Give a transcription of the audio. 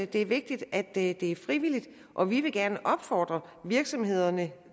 det er vigtigt at det er frivilligt og vi vil gerne opfordre virksomhederne